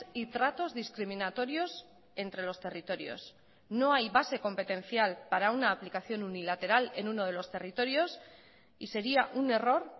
y tratos discriminatorios entre los territorios no hay base competencial para una aplicación unilateral en uno de los territorios y sería un error